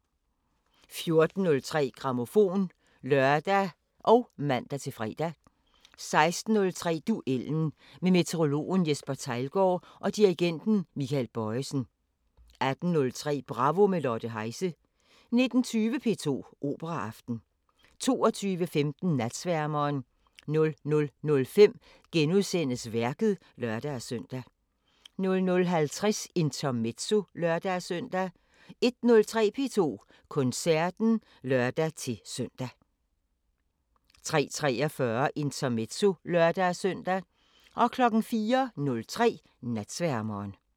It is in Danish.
14:03: Grammofon (lør og man-fre) 16:03: Duellen – med meteorologen Jesper Theilgaard og dirigenten Michael Bojesen 18:03: Bravo – med Lotte Heise 19:20: P2 Operaaften 22:15: Natsværmeren 00:05: Værket *(lør-søn) 00:50: Intermezzo (lør-søn) 01:03: P2 Koncerten (lør-søn) 03:43: Intermezzo (lør-søn) 04:03: Natsværmeren